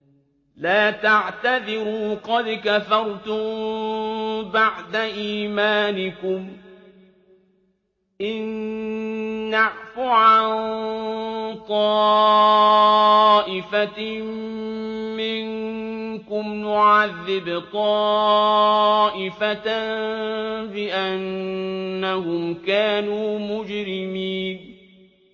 لَا تَعْتَذِرُوا قَدْ كَفَرْتُم بَعْدَ إِيمَانِكُمْ ۚ إِن نَّعْفُ عَن طَائِفَةٍ مِّنكُمْ نُعَذِّبْ طَائِفَةً بِأَنَّهُمْ كَانُوا مُجْرِمِينَ